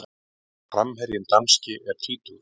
Framherjinn danski er tvítugur.